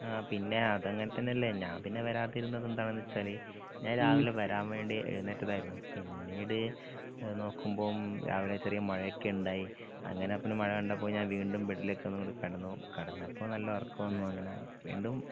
ആ പിന്നെ അതങ്ങനെതന്നല്ലെ ഞാന്പിന്നെ വരാതിരുന്നത് എന്താണെന്നു വെച്ചാല് ഞാൻ രാവിലെ വരാൻ വേണ്ടി എഴ്ന്നേറ്റതായിരുന്നു പിന്നീട് നോക്കുമ്പം രാവിലെ ചെറിയ മഴക്കണ്ടായി അങ്ങനെപ്പൊ മഴ കണ്ടപ്പൊ ഞാൻ വീണ്ടും ബെഡിലേക്ക് കെടന്നു കെടന്നപ്പൊ നല്ല ഒറക്കം വന്നു അങ്ങനാ വീണ്ടും